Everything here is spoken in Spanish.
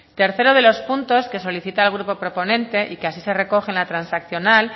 tercero de los puntos que solicita el grupo proponente y que así se recoge en la transaccional